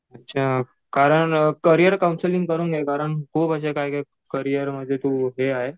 अच्छा कारण career counselling करून घे कारण तू म्हणजे करियर म्हणजे हे आहे.